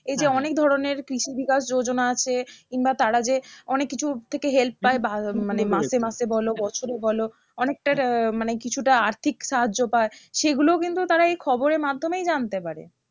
এই যে অনেক ধরণের কৃষিবিকাশ যোজনা আছে কিংবা তারা যে অনেক কিছুর থেকে help পায় বা মানে মাসে মাসে বলো বছরে বলো অনেকটা আহ মানে কিছুটা আর্থিক সাহায্য পায় সেগুলোও কিন্তু তারা এই খবরের মাধ্যমেই জানতে পারে